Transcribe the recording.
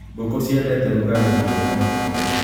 Ngũkũ ciendete rugarĩ na rĩera riega.